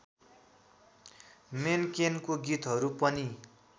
मेन्केनको गीतहरू पनि